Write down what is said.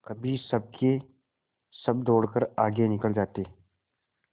कभी सबके सब दौड़कर आगे निकल जाते